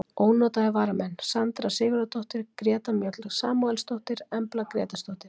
Ónotaðir varamenn: Sandra Sigurðardóttir, Greta Mjöll Samúelsdóttir, Embla Grétarsdóttir,